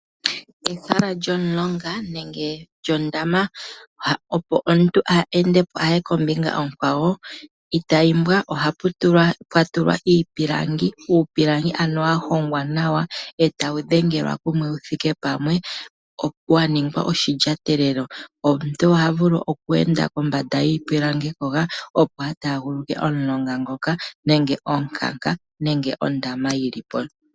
Ehala lyomulonga nenge lyoondama, opo omuntu a ende po aye kombinga onkwawo, ita imbwa, ohapu tulwa iipilangi. Uupilangi ano wa hongwa nawa, e tawu dhengelwa kumwe wu thike pamwe wa ningwa oshilyatelelo. Omuntu oha vulu oku enda kombanda yiipilangi hoka opo a taaguluke omulongo ngoka nenge omukanka nenge ondama yi mpoka.